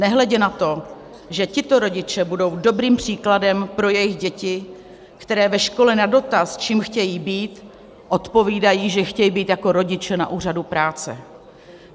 Nehledě na to, že tito rodiče budou dobrým příkladem pro jejich děti, které ve škole na dotaz, čím chtějí být, odpovídají, že chtějí být jako rodiče na úřadu práce.